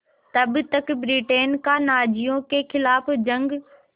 तब तक ब्रिटेन का नाज़ियों के ख़िलाफ़ जंग